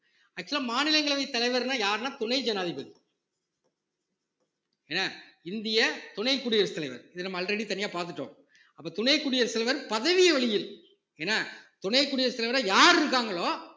actual ஆ மாநிலங்களவைத் தலைவர்ன்னா யாருன்னா துணை ஜனாதிபதி என்ன இந்திய துணை குடியரசுத் தலைவர் இதை நம்ம already தனியா பாத்துட்டோம் அப்ப துணை குடியரசுத் தலைவர் பதவி வழியில் என்ன துணை குடியரசுத் தலைவரா யார் இருக்காங்களோ